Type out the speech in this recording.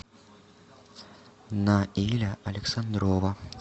наиля александрова